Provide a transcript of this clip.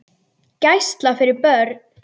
Gæsla fyrir börn.